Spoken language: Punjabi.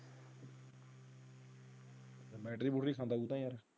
Battery ਬੁੱਤਰੀ ਸਮਭਾਲ ਤਾ ਯਾਰ।